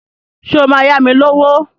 Ṣé o máa yá mi lówó?